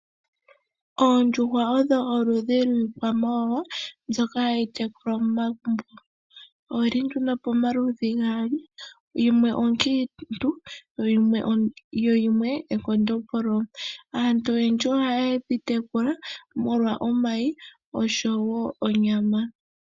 Oondjuhwa odho oludhi lwiikwamawawa mbyoka hayi tekulwa momagumbo Oyili nduno pomaludhi gaali yimwe onkiintu yo yimwe ekondombolo. Aantu oyendji ohayedhi tekula molwa omayi oshowo onyama